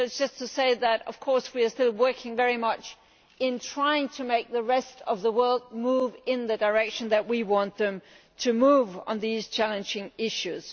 This is just to say that we are still working very hard on trying to make the rest of the world move in the direction in which we want them to move on these challenging issues.